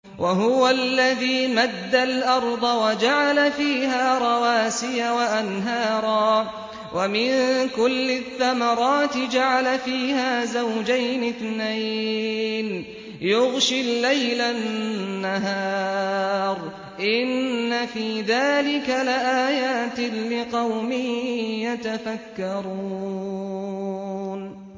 وَهُوَ الَّذِي مَدَّ الْأَرْضَ وَجَعَلَ فِيهَا رَوَاسِيَ وَأَنْهَارًا ۖ وَمِن كُلِّ الثَّمَرَاتِ جَعَلَ فِيهَا زَوْجَيْنِ اثْنَيْنِ ۖ يُغْشِي اللَّيْلَ النَّهَارَ ۚ إِنَّ فِي ذَٰلِكَ لَآيَاتٍ لِّقَوْمٍ يَتَفَكَّرُونَ